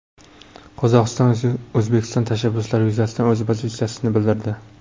Qozog‘iston O‘zbekiston tashabbuslari yuzasidan o‘z pozitsiyasini bildirdi.